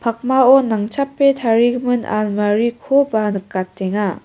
pakmao nangchape tarigimin almarikoba nikatenga.